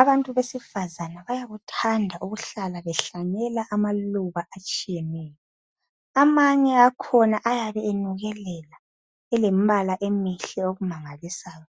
Abantu besifazana bayakuthanda ukuhlala behlanyela amaluba atshiyeneyo. Amanye akhona ayabe enukelela elembala emihle okumangalisayo